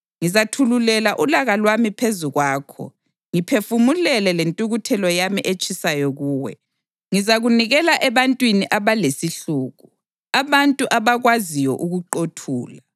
Ngizathululela ulaka lwami phezu kwakho ngiphefumlele lentukuthelo yami etshisayo kuwe; ngizakunikela ebantwini abalesihluku, abantu abakwaziyo ukuqothula.